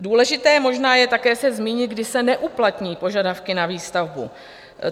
Důležité možná je také se zmínit, kdy se neuplatní požadavky na výstavbu.